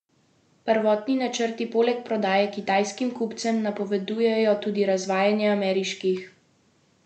Prvotni načrti poleg prodaje kitajskim kupcem napovedujejo tudi razvajanje ameriških kupcev.